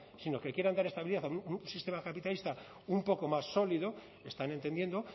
sino que quieran dar estabilidad a un sistema capitalista un poco más sólido están entendiendo